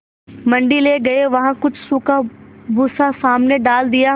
मंडी ले गये वहाँ कुछ सूखा भूसा सामने डाल दिया